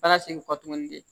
Baara segin kɔ tuguni de